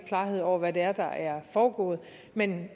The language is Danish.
klarhed over hvad det er der er foregået men